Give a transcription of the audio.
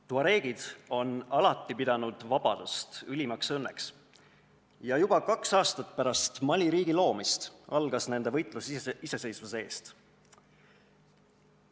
Tuareegid on alati pidanud vabadust ülimaks õnneks ja juba kaks aastat pärast Mali riigi loomist algas nende võitlus iseseisvuse eest.